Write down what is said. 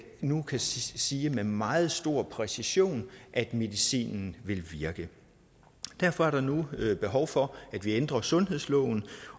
nu kan sige med meget stor præcision at medicinen vil virke derfor er der nu behov for at vi ændrer sundhedsloven